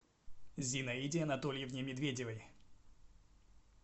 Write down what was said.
зинаиде анатольевне медведевой